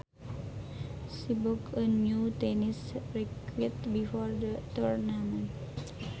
She bought a new tennis racquet before the tournament